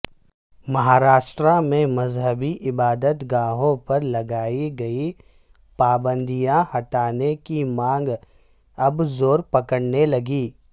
مہاراشٹر میں مذہبی عبادت گاہوں پر لگائی گئی پابندیاں ہٹانے کی مانگ اب زورپکڑنے لگی